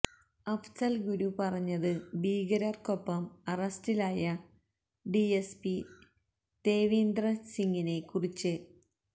അഫ്സൽ ഗുരു പറഞ്ഞത് ഭീകരർക്കൊപ്പം അറസ്റ്റിലായ ഡിഎസ്പി ദേവീന്ദർ സിംഗിനെ കുറിച്ച്